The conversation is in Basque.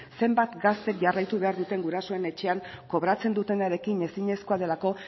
zenbat gaztek jarraitu behar duten gurasoen etxean kobratzen dutenarekin ezinezkoa delako